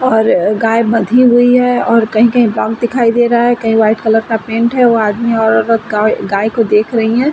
और गाय बंधी हुई है और कहीं-कहीं दिखाई दे रहा है। कई वाइट कलर का पेंट है वो आदमी औरत गा गाय को देख रही हैं ।